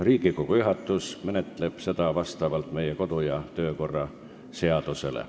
Riigikogu juhatus menetleb seda vastavalt meie kodu- ja töökorra seadusele.